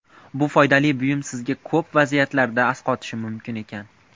Bu foydali buyum sizga ko‘plab vaziyatlarda asqotishi mumkin ekan.